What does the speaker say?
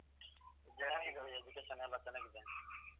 ಚೆನ್ನಾಗಿ ಇದೆ ರೀ education ಎಲ್ಲಾ ಚೆನ್ನಾಗಿ ಇದೆ.